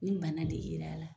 Ni de yer'a la.